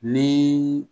Ni